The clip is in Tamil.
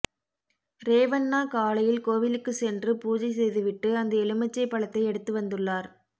ரேவண்ணா காலையில் கோவிலுக்கு சென்று பூஜை செய்துவிட்டு அந்த எலுமிச்சை பழத்தை எடுத்து வந்துள்ளார்